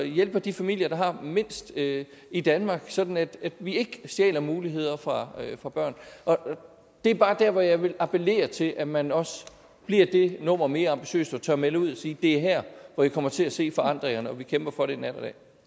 hjælper de familier der har mindst i i danmark sådan at vi ikke stjæler muligheder fra fra børn det er bare der hvor jeg vil appellere til at man også bliver det nummer mere ambitiøs og tør melde ud og sige det er her hvor i kommer til at se forandringerne og vi kæmper for det nat